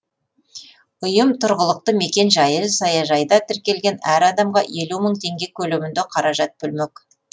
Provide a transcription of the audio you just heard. ұйым тұрғылықты мекен жайы саяжайда тіркелген әр адамға елу мың теңге көлемінде қаражат бөлмек